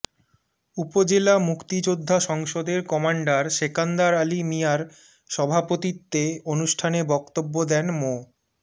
উপজেলা মুক্তিযোদ্ধা সংসদের কমান্ডার সেকান্দার আলী মিয়ার সভাপতিত্বে অনুষ্ঠানে বক্তব্য দেন মো